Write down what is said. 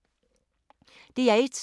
DR1